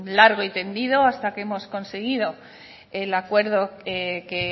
largo y tendido hasta que hemos conseguido el acuerdo que